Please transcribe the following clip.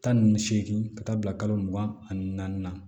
Tan ni seegin ka taa bila kalo mugan ani naani na